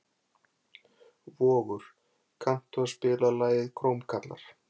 Vogur, kanntu að spila lagið „Krómkallar“?